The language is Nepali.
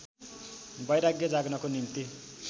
वैराग्य जाग्नको निम्ति